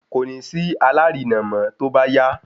kòní sí alárinà mọ tóbá yá